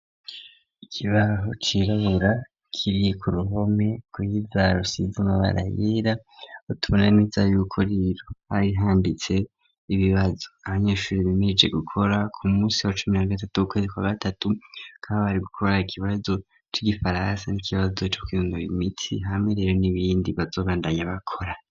ikibaho cirabura kiri ku ruhome gwiza rusize amabara yera tubona neza yuko rero hari handitse ibibazo ahanyeshure bimeirije gukora ku munsi wa cumi na gatatu w'ukwezi kwa gatatu bakaba bari gukora ikibazo cy'igifaransa n'ikibazo cyo kwinonora imitsi hamwe rero n'ibindi bazobandanya bakora.